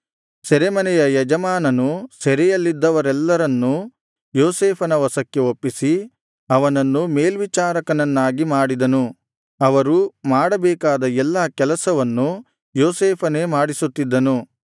ಸೆರೆಮನೆಯ ಯಜಮಾನನು ಸೆರೆಯಲ್ಲಿದ್ದವರೆಲ್ಲರನ್ನೂ ಯೋಸೇಫನ ವಶಕ್ಕೆ ಒಪ್ಪಿಸಿ ಅವನನ್ನು ಮೇಲ್ವಿಚಾರಕನನ್ನಾಗಿ ಮಾಡಿದನು ಅವರು ಮಾಡಬೇಕಾದ ಎಲ್ಲ ಕೆಲಸವನ್ನು ಯೋಸೇಫನೇ ಮಾಡಿಸುತ್ತಿದ್ದನು